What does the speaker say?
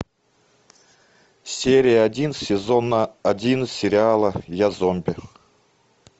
серия один сезона один сериала я зомби